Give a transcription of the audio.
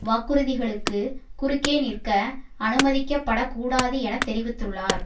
வாக்குறுதிகளுக்கு குறுக்கே நிற்க அனுமதிக்கப்படக் கூடாது என தெரிவித்துள்ளார்